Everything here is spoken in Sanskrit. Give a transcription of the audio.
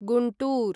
गुण्टूर्